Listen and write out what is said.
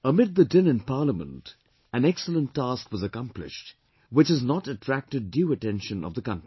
Amid the din in Parliament, an excellent task was accomplished, which has not attracted due attention of the country